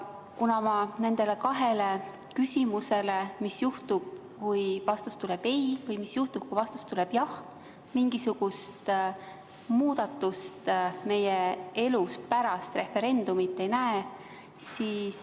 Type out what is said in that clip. Ma nende kahe küsimuse tõttu – mis juhtub, kui vastus tuleb ei, ja mis juhtub, kui vastus tuleb jah – mingisugust muudatust meie elus pärast referendumit ei näe.